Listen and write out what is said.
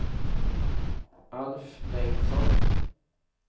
Alf Bengtsson